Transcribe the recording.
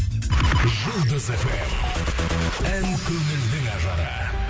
жұлдыз фм ән көңілдің ажары